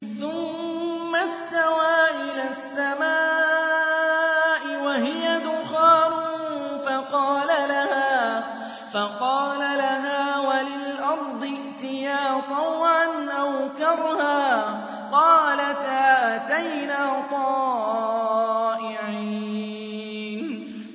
ثُمَّ اسْتَوَىٰ إِلَى السَّمَاءِ وَهِيَ دُخَانٌ فَقَالَ لَهَا وَلِلْأَرْضِ ائْتِيَا طَوْعًا أَوْ كَرْهًا قَالَتَا أَتَيْنَا طَائِعِينَ